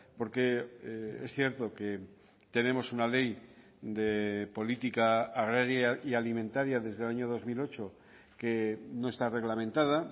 porque es cierto que tenemos una ley de política agraria y alimentaria desde el año dos mil ocho que no está reglamentada